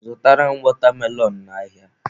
Zụtara m watermelon n'ahịa!.